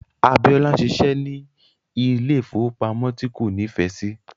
Abiola ń ṣiṣẹ́ ní ilé ìfowópamọ́ tí kò nífẹ̀ẹ́ sí.